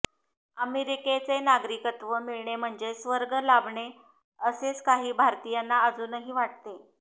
अमेरिकेचे नागरिकत्व मिळणे म्हणजे स्वर्ग लाभणे असेच काही भारतीयांना अजूनही वाटते